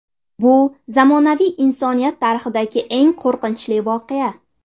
Bu zamonaviy insoniyat tarixidagi eng qo‘rqinchli voqea.